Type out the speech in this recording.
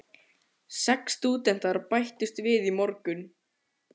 Hann vildi láta Tóta vita hvað Sonja var ferleg.